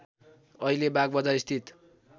अहिले बागबजार स्थित